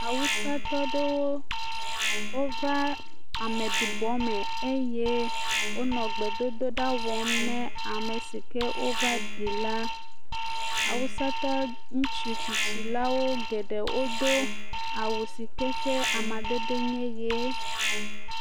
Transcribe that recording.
Awusatɔ aɖewo wova ameɖibɔ me eye wonɔ gbedodo ɖa wɔm na ame si ke wova ɖi la, awusatɔ ŋutsu tsitsi la wo geɖe wodo awu si ke ƒe amadede nye ʋe.